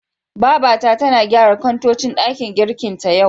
Babata tana gyara kantocin ɗakin girkin ta, yau.